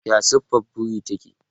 Ya siffar buri take?